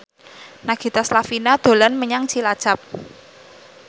Nagita Slavina dolan menyang Cilacap